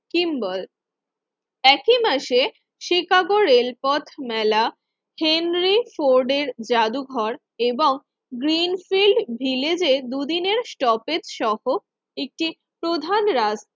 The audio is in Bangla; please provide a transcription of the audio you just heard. সিম্বল একই মাসে শিকাগোর রেলপথ মেলা হেনরি ফোর্ট এর জাদুঘর এবং গ্রিনফিল্ড ভিলেজে দুদিনের স্টপেজ সহ একটি প্রধান রাজ